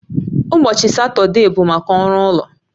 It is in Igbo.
Ụbọchị Satọde bụ maka ọrụ ụlọ